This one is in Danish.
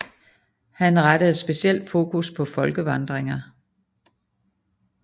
Han rettede specielt fokus på folkevandringer